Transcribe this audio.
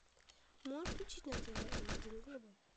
можешь включить на тв м один глобал